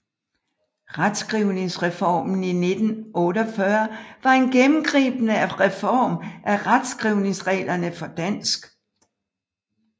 Retskrivningsreformen i 1948 var en gennemgribende reform af retskrivningsreglerne for dansk